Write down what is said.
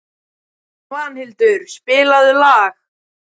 Hún heyrir að hann tuldrar takk niður í bringuna.